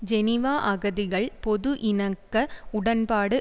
Geneva அகதிகள் பொது இணக்க உடன்பாடு